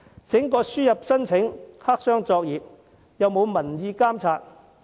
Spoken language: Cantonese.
整個輸入人才計劃實為黑箱作業，不受民意監察。